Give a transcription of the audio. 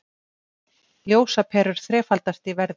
Ljósaperur þrefaldast í verði